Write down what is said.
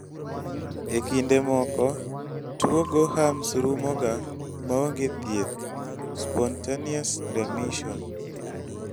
e kinde moko, tuwo gorham's rumoga maonge thieth(spontaneous remission)